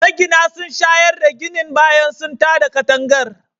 Magina sun shayar da ginin bayan sun tada katangar